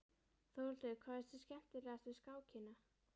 Þórhildur: Hvað finnst þér skemmtilegast við skákina?